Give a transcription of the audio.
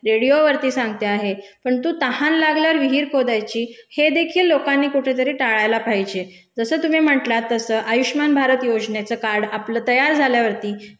रेडियोवरती सांगते आहे, परंतु तहान लागल्यावर विहीर खोदायची हे देखील लोकांनी टाळायला पाहिजे. जसं तुम्ही म्हंटलात तसं आयुष्मान भारत योजनेचं कार्ड आपलं तयार झाल्यावरती